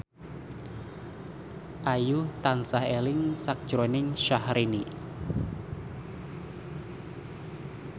Ayu tansah eling sakjroning Syahrini